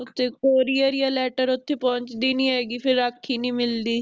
ਤੇ courier ਯਾ letter ਉਥੇ ਪਹੁੰਚਦੀ ਨਹੀਂ ਹੇਗੀ ਫਿਰ ਰਾਖੀ ਨਹੀਂ ਮਿਲਦੀ